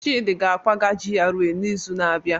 Chidi ga-akwaga GRA n'izu na-abịa.